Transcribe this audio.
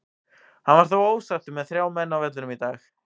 Hann var þó ósáttur með þrjá menn á vellinum í dag.